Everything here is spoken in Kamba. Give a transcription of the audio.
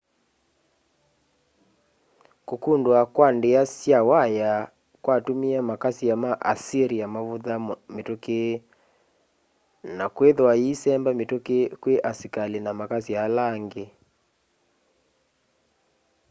kukundua kwa ndia sya waya kwatumie makasya ma assyria mavutha mituki na kwithwa issemba mituki kwi asikali na makasya ala angi